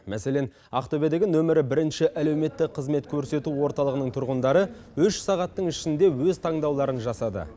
мәселен ақтөбедегі нөмірі бірінші әлеуметтік қызмет көрсету орталығының тұрғындары үш сағаттың ішінде өз таңдауларын жасады